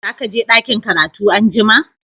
Za ka je dakin karatu an'jumma?